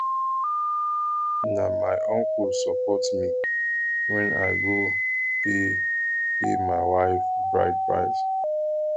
na my uncle support me wen i go pay pay my wife bride price